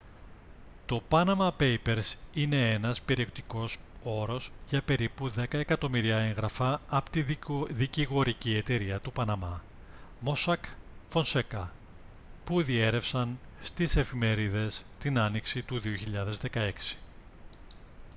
το «panama papers» είναι ένας περιεκτικός όρος για περίπου δέκα εκατομμύρια έγγραφα από τη δικηγορική εταιρεία του παναμά mossack fonseca που διέρρευσαν στις εφημερίδες την άνοιξη του 2016